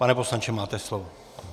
Pane poslanče, máte slovo.